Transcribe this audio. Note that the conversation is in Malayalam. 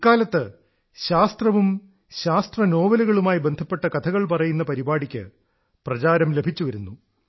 ഇക്കാലത്ത് ശാസ്ത്രവും ശാസ്ത്രനോവലുകളുമായി ബന്ധപ്പെട്ട കഥകൾ പറയുന്ന പരിപാടിക്ക് പ്രചാരം ലഭിച്ചുവരുന്നു